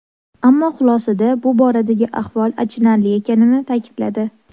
Ammo xulosada bu boradagi ahvol achinarli ekanini ta’kidladi.